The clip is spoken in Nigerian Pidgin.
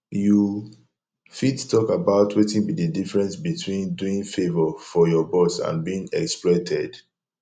you fit talk about wetin be di difference between doing favor for your boss and being exploited